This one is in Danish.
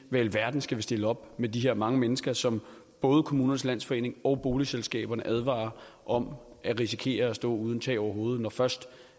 i alverden skal vi stille op med de her mange mennesker som både kommunernes landsforening og boligselskaberne advarer om risikerer at stå uden tag over hovedet når først